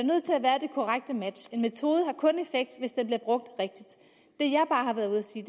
korrekte match en metode har kun effekt hvis den bliver brugt rigtigt det jeg bare har været ude at sige